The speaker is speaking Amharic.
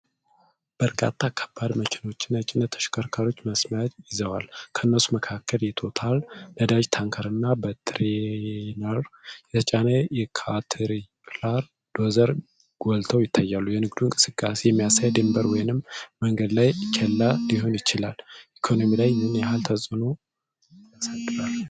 በርካታ ከባድ መኪናዎችና የጭነት ተሽከርካሪዎች መስመር ይዘዋል። ከነሱ መካከል የቶታል ነዳጅ ታንከር እና በትሬይለር የተጫነ ካትሪፕላር ዶዘር ጎልተው ይታያሉ። የንግድ እንቅስቃሴን የሚያሳይ ድንበር ወይም የመንገድ ላይ ኬላ ሊሆን ይችላል። ኢኮኖሚ ላይ ምን ያህል ተጽዕኖ ያሳድራሉ?